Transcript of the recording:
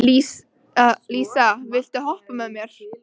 Kaldi, læstu útidyrunum.